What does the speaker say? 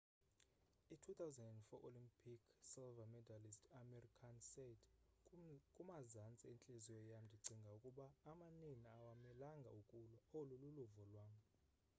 i 2004 olympic silver medallist amir khan said kumazantsi entliziyo yam ndicinga ukuba amanina awamelanga ukulwa olu luluvo lwam